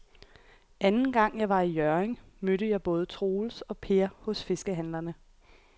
Anden gang jeg var i Hjørring, mødte jeg både Troels og Per hos fiskehandlerne.